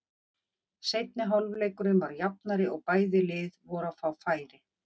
Seinni hálfleikurinn var jafnari og bæði lið voru að fá færi.